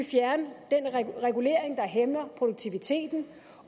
fjerne den regulering der hæmmer produktiviteten